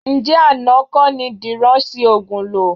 Ǹjẹ́ àná kọ́ ni Dìran ṣi òògùn lò?